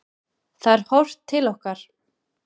Það er horft til okkar.